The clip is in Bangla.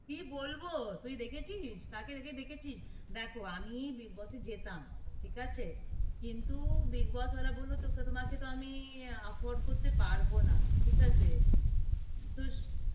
কি বলব? তুই দেখেছিস? কাকে দেখে দেখেছিস? দেখো, আমি বিগ বসে যেতাম, ঠিক আছে? কিন্তু বিগ বস ওয়ালা বলল, তকে, তুমাকে তো আমি afford করতে পারব না, ঠিক আছে, তো,